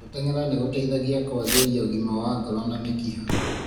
Gũtengera nĩ gũteithagia kũagĩria ũgima wa ngoro na mĩkiha.